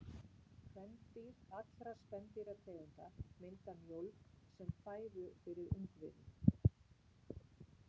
Kvendýr allra spendýrategunda mynda mjólk sem fæðu fyrir ungviðið.